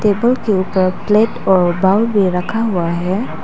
Table के ऊपर plate और बाउल भी रखा हुआ है।